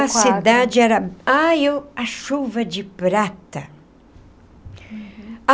A cidade era... Ah, eu... A chuva de prata.